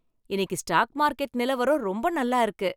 இன்னிக்கு stock market நிலவரம் ரொம்ப நல்லா இருக்கு